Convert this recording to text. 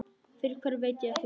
Fyrir hverju veit ég ekki.